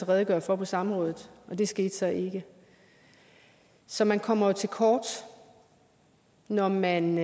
redegøre for på samrådet og det skete så ikke så man kommer til kort når man